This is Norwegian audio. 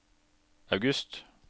august